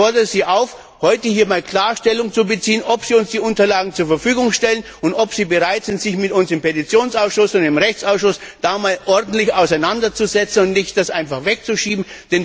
Ich fordere Sie auf, heute hier einmal klar Stellung zu beziehen, ob Sie uns die Unterlagen zur Verfügung stellen und ob Sie bereit sind, sich mit uns im Petitionsausschuss und im Rechtsausschuss einmal ordentlich auseinanderzusetzen und das nicht einfach wegzuschieben.